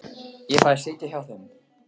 Ég fæ að sitja í hjá þeim.